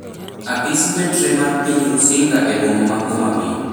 Apis mbetre mar piny Rusinga e boma ma Homa Bay